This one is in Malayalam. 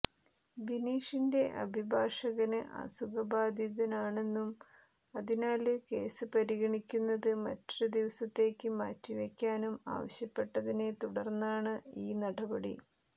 ബിനീഷിന്റെ അഭിഭാഷകന് അസുഖ ബാധിതനാണെന്നും അതിനാല് കേസ് പരിഗണിക്കുന്നത് മറ്റൊരു ദിവസത്തേയ്ക്ക് മാറ്റിവെയ്ക്കാനും ആവശ്യപ്പെട്ടതിനെ തുടര്ന്നാണ് ഈ നടപടി